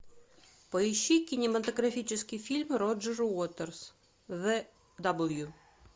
поищи кинематографический фильм роджер уотерс зе дабл ю